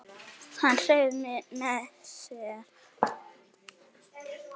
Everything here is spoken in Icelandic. Hann hreif mig með sér.